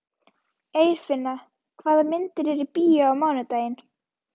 Eirfinna, hvaða myndir eru í bíó á mánudaginn?